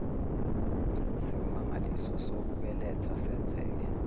simangaliso sokubeletha senzeke